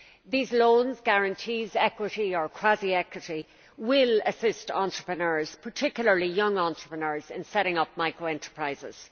These loans, guarantees, equity or quasi equity will assist entrepreneurs particularly young entrepreneurs in setting up micro enterprises.